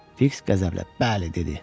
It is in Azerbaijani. Fiks qəzəblə: Bəli, dedi.